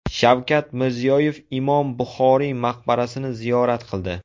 Shavkat Mirziyoyev Imom Buxoriy maqbarasini ziyorat qildi.